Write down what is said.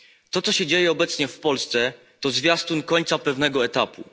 To, co się dzieje obecnie w Polsce, to zwiastun końca pewnego etapu.